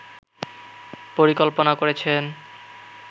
পরিকল্পনা করেছেন